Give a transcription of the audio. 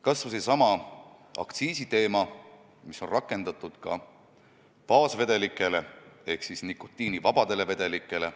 Kas või seesama aktsiis, mida on rakendatud ka baasvedelikele ehk nikotiinivabadele vedelikele.